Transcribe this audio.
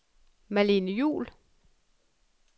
Malene Juul